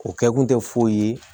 O kɛ kun tɛ foyi ye